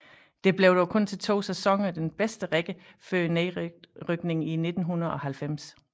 Det blev dog kun til 2 sæsoner den bedste række før nedrykning i 1990